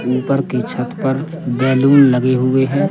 ऊपर की छत पर बैलून लगे हुए हैं।